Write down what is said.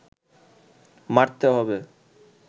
মারতে হবে